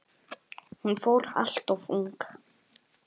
Hún fór alltof ung.